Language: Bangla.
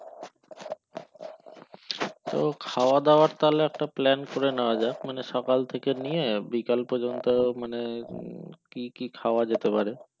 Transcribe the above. তো খাওয়া দেওয়ার তাহলে একটা plan করে নিয়াজকে মানে সকাল থেকে নিয়ে বিকাল পযন্ত মানে উম কি কি খাওয়া যেতে পারে